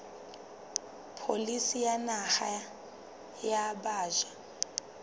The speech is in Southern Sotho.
pholisi ya naha ya batjha